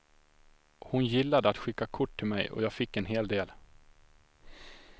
Hon gillade att skicka kort till mig och jag fick en hel del.